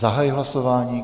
Zahajuji hlasování.